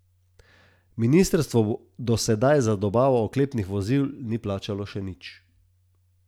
Ministrstvo do sedaj za dobavo oklepnih vozil ni plačalo še nič.